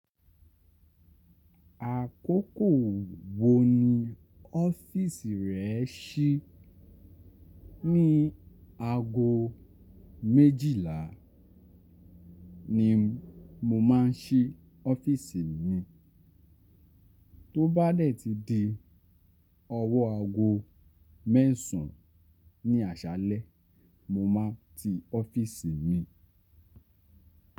Àkókò wo ni ọ́fíìsì rẹ si? Ní ago méjìlá Ni mo máa ń sí ọ́fíìsì mi, tó bá dẹ̀ ti di ọwọ́ ago mẹ́sàn ní àṣálẹ́, mo má n ti ọ́fíìsì mi.